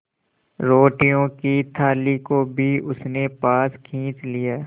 रोटियों की थाली को भी उसने पास खींच लिया